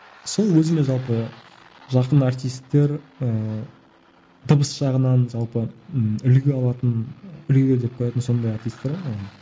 сол өзіме жалпы жақын әртістер ыыы дыбыс жағынан жалпы ыыы үлгі алатын үлгі етіп қоятын сондай әртістер ғой манағы